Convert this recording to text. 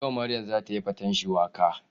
Yau Maryam za ta yi faten shuwaka.